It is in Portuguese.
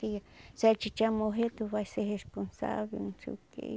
Se se a titia morrer, tu vai ser responsável, não sei o quê.